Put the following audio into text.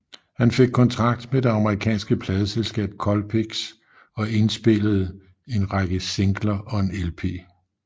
Han fik kontrakt med det amerikanske pladeselskab Colpix og indpillede en række singler og en lp